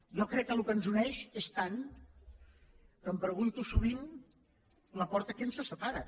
jo crec que el que ens uneix és tant que em pregunto sovint laporta què ens separa